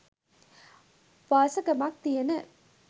වාසගමක් තියෙන